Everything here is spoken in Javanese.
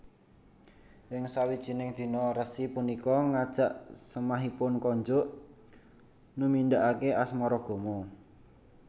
Ing sawijining dina resi punika ngajak semahipun konjuk numindakake asmaragama